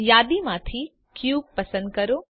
target bar પર ડાબું click કરો